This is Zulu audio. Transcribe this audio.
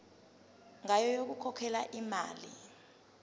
ngayo yokukhokhela imali